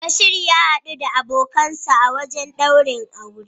Bashir ya hadu da abokinsa a wajen daurin auren.